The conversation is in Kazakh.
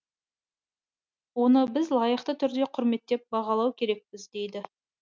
оны біз лайықты түрде құрметтеп бағалау керекпіз дейді